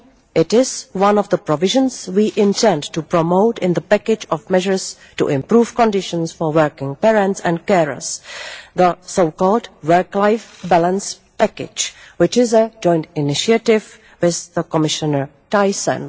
It is one of the provisions we intend to promote in the package of measures to improve conditions for working parents and carers, the so called work life balance package', which is a joint initiative with Commissioner Thyssen.